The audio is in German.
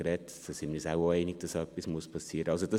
Da sind wir uns wohl auch einig, dass etwas geschehen muss.